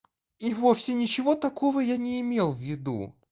и вовсе ничего такого я не имел в виду